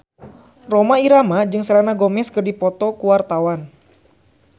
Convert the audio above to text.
Rhoma Irama jeung Selena Gomez keur dipoto ku wartawan